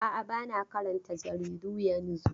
A'a, ba na karanta jaridu yanzu.